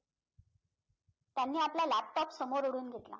त्यांनी आपला laptop समोर ओढून घेतला